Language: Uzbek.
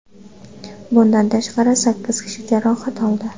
Bundan tashqari, sakkiz kishi jarohat oldi.